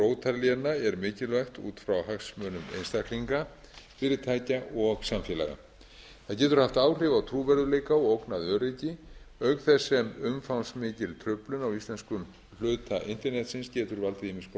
í heild öryggi rótarléna er mikilvægt út frá hagsmunum einstaklinga fyrirtækja og samfélaga það getur haft áhrif á trúverðugleika og ógnað öryggi auk þess sem umfangsmikil truflun á íslenskum hluta internetsins getur valdið ýmiss